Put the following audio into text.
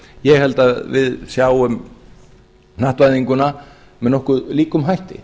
ég held að við sjáum hnattvæðinguna með nokkuð eigum hætti